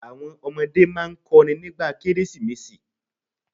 Àwọn ọmọdé máa n kọrin nígbà Kérésìmesì